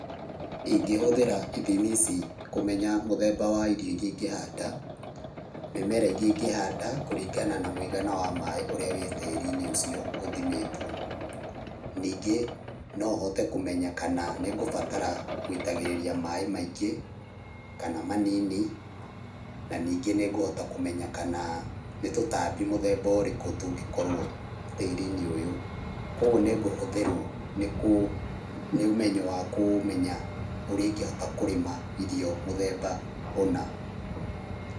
Ingĩhũthĩra ithimi ici kũmenya mũthemba wa irio irĩa ingĩhanda, mĩmera ĩrĩa ingĩhanda kũringana na mũigana wa maĩ ũrĩa wĩ tĩĩri-ni ũcio ũthimĩtwo. Ningĩ no hote kũmenya kana nĩngũbatara gũitagĩrĩria maĩ maingĩ, kana manini na ningĩ nĩngũhota kũmenya kana nĩ tũtambi mũthemba ũrĩkũ tũngĩkorwo tĩĩri-ni ũyũ. Kogwo nĩ ngũhũthirwo nĩ ũmenyo wa kũmenya, ũrĩa ingĩhota kũrĩma irio mũthemba ũna.